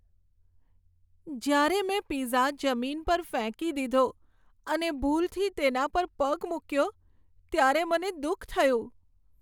જ્યારે મેં પિઝા જમીન પર ફેંકી દીધો અને ભૂલથી તેના પર પગ મૂક્યો ત્યારે મને દુઃખ થયું.